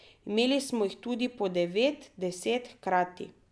Imeli smo jih tudi po devet, deset hkrati.